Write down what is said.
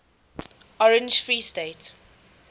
orange free state